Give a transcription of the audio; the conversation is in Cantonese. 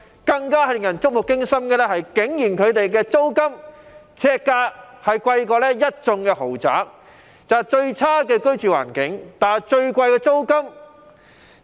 更令人觸目驚心的是，他們每平方呎的租金比一眾豪宅更貴，最差的居住環境，但最貴的租金。